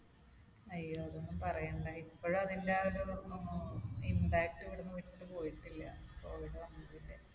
അയ്യോ. അതൊന്നും പറയണ്ട. ഇപ്പോഴും അതിന്റെ അഹ് ഒരു ഏർ impact ഇവിടുന്ന് വിട്ട് പോയിട്ടില്ല covid വന്നതിന്റെ.